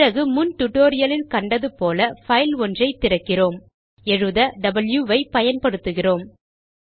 பிறகு முன் டியூட்டோரியல் லில் கண்டது போல் பைல் ஒன்றை திறக்கிறோம் எழுத வாவ் ஐ பயன்படுத்துகிறோம்